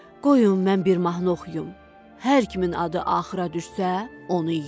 Qoyun mən bir mahnı oxuyum, hər kimin adı axıra düşsə, onu yeyək.